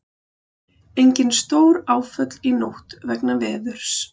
Engin stóráföll í nótt vegna veðurs